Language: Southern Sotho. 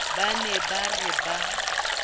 ba ne ba re ba